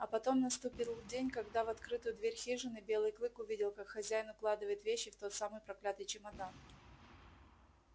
а потом наступил день когда в открытую дверь хижины белый клык увидел как хозяин укладывает вещи в тот самый проклятый чемодан